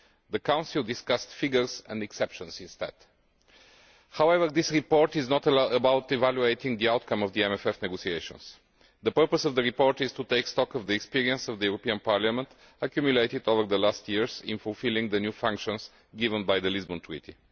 The Council discussed figures and exceptions instead. However, this report is not about evaluating the outcome of the MFF negotiations. The purpose of the report is to take stock of the experience of the European Parliament accumulated over the last years in fulfilling the new functions given to it by the Lisbon Treaty.